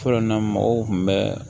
Fɔlɔ na mɔgɔw kun bɛ